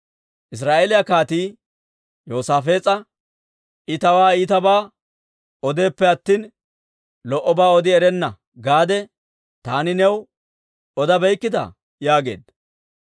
Israa'eeliyaa kaatii Yoosaafees'a, « ‹I tawaa iitabaa odeeppe attina, lo"obaa odi erenna› gaade, taani new odabeykkitaa?» yaageedda.